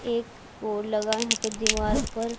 एक बोर्ड लगा है यहां पे दीवार पर।